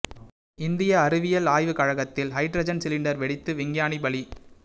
இந்திய அறிவியல் ஆய்வு கழகத்தில் ஹைட்ரஜன் சிலிண்டர் வெடித்து விஞ்ஞானி பலி